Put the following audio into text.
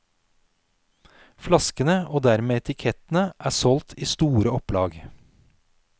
Flaskene og dermed etikettene er solgt i store opplag.